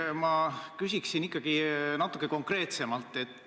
Ma küsiksin ikkagi natukene konkreetsemalt.